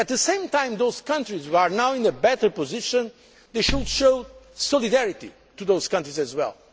them. At the same time, those countries that are now in a better position should show solidarity with those countries as